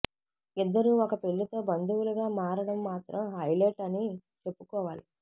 ఇద్దరూ ఒక పెళ్లితో బంధువులుగా మారడం మాత్రం హైలైట్ అని చెప్పుకోవాలి